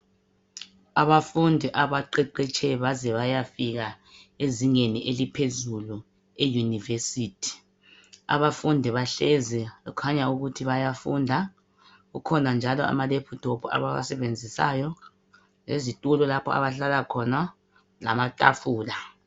Abafundi abaqeqetshe baze bayafika ezingeni eliphezulu eUnivesithi. Abafundi bahlezi kukhanya ukuthi bayafunda kukhona njalo ama lephuthophu abawasebenzisayo lezitulo lapha abahlala khona lamatafula.